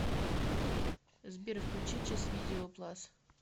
сбер включи чес видео плас